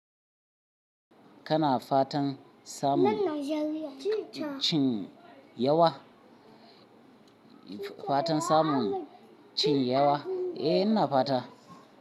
Kana fatan samun cin yawa? Fatan samun cin yawa? Eh, ina fata.